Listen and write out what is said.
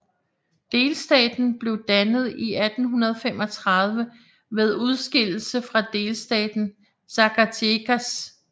Delstaten blev dannet i 1835 ved udskillelse fra delstaten Zacatecas